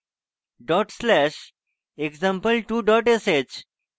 dot slash example2 dot sh